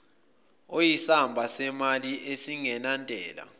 oyisamba semali esingenantela